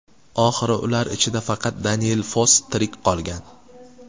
Oxiri ular ichida faqat Daniel Foss tirik qolgan.